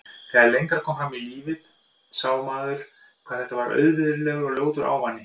Þegar lengra kom fram í lífið sá maður hvað þetta var auvirðilegur og ljótur ávani.